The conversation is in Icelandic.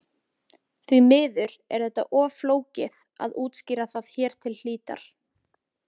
Því miður er þetta of flókið að útskýra það hér til hlítar.